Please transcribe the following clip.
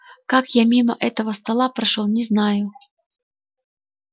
как я мимо этого стола прошёл не знаю